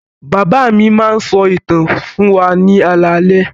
Bàbá mi máa ń sọ ìtàn fún wa ní alaalẹ́.